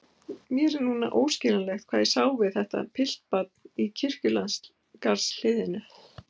Mér er núna óskiljanlegt hvað ég sá við þetta piltbarn í kirkjugarðshliðinu.